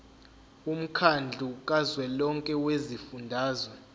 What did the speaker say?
womkhandlu kazwelonke wezifundazwe